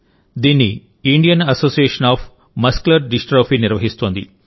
దీన్ని Indian association of muscular dystrophy నిర్వహిస్తోంది